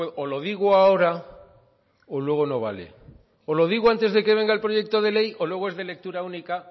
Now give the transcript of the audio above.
o lo digo ahora o luego no vale o lo digo antes de que venga el proyecto de ley o luego es de lectura única